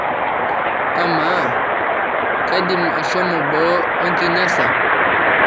amaa kaidim ashomo boo oenkinyasa